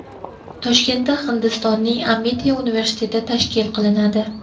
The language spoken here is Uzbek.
Toshkentda Hindistonning Amiti universiteti tashkil qilinadi.